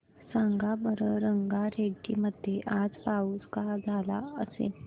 सांगा बरं रंगारेड्डी मध्ये आज पाऊस का झाला असेल